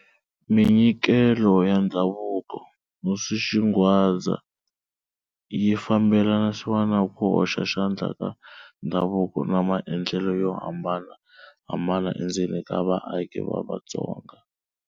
Minyikelo ya Ndhavuko-Hosi Xingwadza yi fambelanisiwa na ku hoxa xandla ka ndhavuko na maendlelo yo hambanahambana endzeni ka vaaki va Vatsonga.